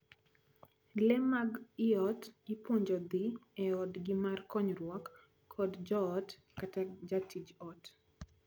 Lee mag ii ot ipuonjo dhii e odgi mar konyruok kod joot kata jatij ot.